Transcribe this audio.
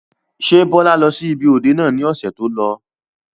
Ṣé Bọlá lọ sí ibi òde náà ni ọ̀sẹ̀ tó lọ?